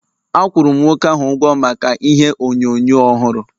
Akwuru m nwoke ahụ ụgwọ maka ihe onyonyo ọhụrụ